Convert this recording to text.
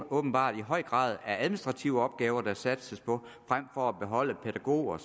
åbenbart i høj grad er administrative opgaver der satses på frem for at beholde pædagoger